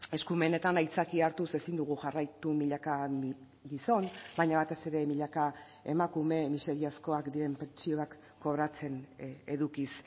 eskumenetan aitzakia hartuz ezin dugu jarraitu milaka gizon baina batez ere milaka emakume miseriazkoak diren pentsioak kobratzen edukiz